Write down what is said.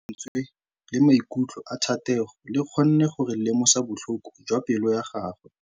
Lentswe la maikutlo a Thategô le kgonne gore re lemosa botlhoko jwa pelô ya gagwe.